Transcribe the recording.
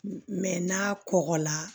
n'a kɔgɔla